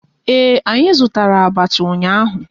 Ee, anyị zụtara abacha ụnyaahụ